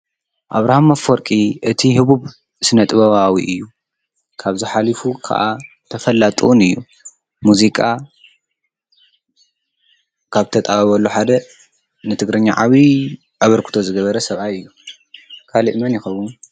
ኣብራሃም ኣፈወርቂ እቲ ሁቡብ ስነ-ጥበባዊ እዩ። ካብዚ ሓሊፉ ከዓ ተፈላጢ እውን እዩ ። ሙዚቃ ካብ ዝተጣበበሉ ሓደ ንትግርኛ ዓብዩ ኣበርክቶ ዝገበረ ሰብኣይ እዩ። ካሊእ መን ይከውን?